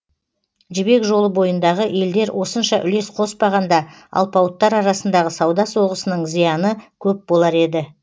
жібек жолы бойындағы елдер осынша үлес қоспағанда алпауыттар арасындағы сауда соғысының зияны көп болар еді